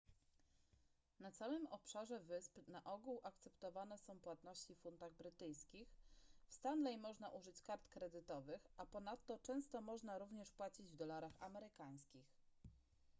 na całym obszarze wysp na ogół akceptowane są płatności w funtach brytyjskich w stanley można użyć kart kredytowych a ponadto często można również płacić w dolarach amerykańskich